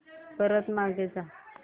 परत मागे जा